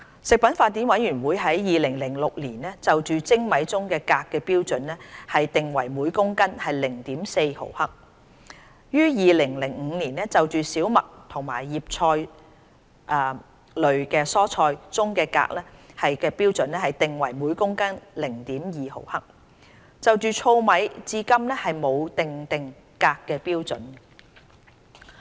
食品法典委員會於2006年就精米中鎘含量的標準定為每公斤 0.4 毫克，於年就小麥和葉菜類蔬菜中鎘含量的標準定為每公斤 0.2 毫克，就糙米至今沒有訂定鎘含量的標準。